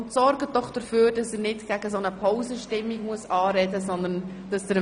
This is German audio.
Bitte sorgen Sie dafür, dass er nicht gegen eine Pausenstimmung anreden muss.